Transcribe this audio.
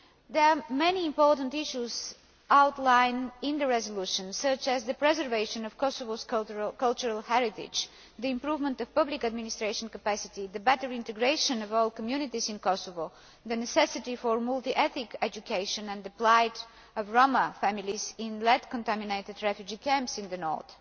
it. There are many important issues outlined in the resolution, such as the preservation of Kosovo's cultural heritage, the improvement of public administration capacity, the better integration of all communities in Kosovo, the necessity for multi ethnic education and the plight of Roma families in lead contaminated refugee camps in the north.